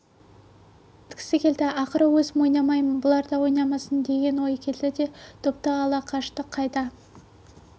кеткісі келді ақыры өзім ойнамаймын бұлар да ойнамасын деген ой келді де допты ала қашты қайда